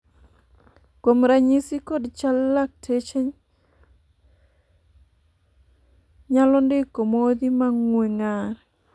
kuom ranyisi kod chal latkeche nyalo ndiko modhi ma ng'ue ng'ar